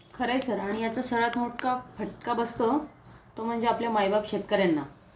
खरंय सर आणि याचा सर्वात मोठा फटका बसतो तो म्हणजे आपल्या मायबाप शेतकऱ्यांना